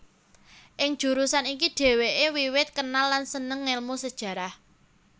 Ing jurusan iki dhèwèké wiwit kenal lan sênêng ngélmu Sejarah